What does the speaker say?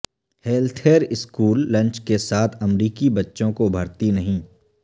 healthier school lunch کے ساتھ امریکی بچوں کو بھرتی نہیں